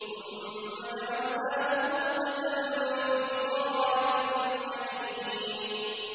ثُمَّ جَعَلْنَاهُ نُطْفَةً فِي قَرَارٍ مَّكِينٍ